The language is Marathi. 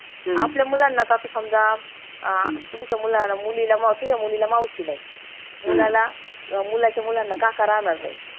आपल्या मुलांना त आता समजा आह तुमच्या मुलाला मुलीला तुझ्या मुलीला मावशी नाई मुलाच्या मुलांना काका राहणार नाई